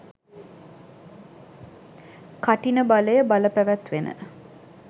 කඨින බලය බලපැවැත්වෙන